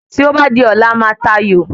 Tí o ba di ọ̀la a máa ta ayò